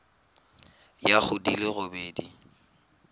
ya go di le robedi